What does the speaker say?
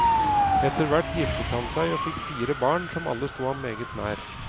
Etterhvert giftet han seg, og fikk fire barn, som alle sto ham meget nær.